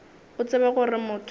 o tsebe gore motho ge